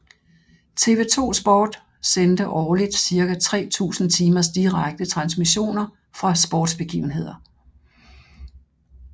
TV 2 SPORT sendte årligt cirka 3000 timers direkte transmissioner fra sportsbegivenheder